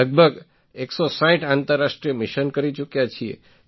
લગભગ ૧૬૦ આંતરરાષ્ટ્રીય મિશન કરી ચૂક્યા છીએ